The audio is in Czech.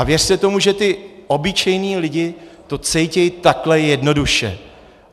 A věřte tomu, že ti obyčejní lidé to cítí takhle jednoduše.